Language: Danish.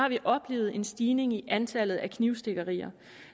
vi oplevet en stigning i antallet af knivstikkerier